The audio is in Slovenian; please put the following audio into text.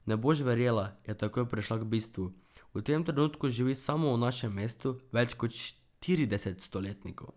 Ne boš verjela, je takoj prešla k bistvu, v tem trenutku živi samo v našem mestu več kot štirideset stoletnikov.